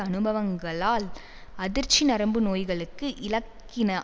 அனுபவங்களால் அதிர்ச்சி நரம்பு நோய்களுக்கு இலக்கின